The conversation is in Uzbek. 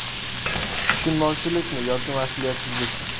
Tushunmovchilikmi yoki mas’uliyatsizlik?.